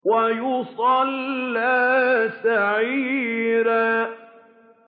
وَيَصْلَىٰ سَعِيرًا